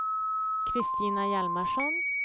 Christina Hjalmarsson